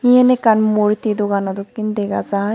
Yen ekkan murti dogano dokken dega jar.